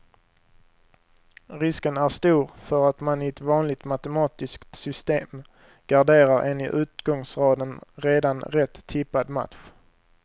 Risken är stor för att man i ett vanligt matematiskt system garderar en i utgångsraden redan rätt tippad match.